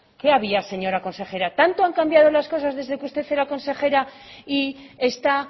qué había señora consejera tanto han cambiado las cosas desde que usted era consejera y está